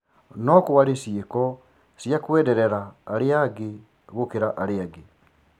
No-kwarĩ ciĩko cia kwenderera arĩa angĩ gũkira arĩa angĩ.